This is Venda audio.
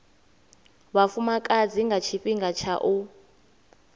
vhafumakadzi nga tshifhinga tsha u